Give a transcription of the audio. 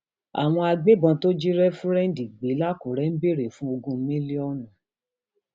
àwọn agbébọn tó jí réfúrẹǹdì gbé lákùrẹ ń béèrè fún ogún mílíọnù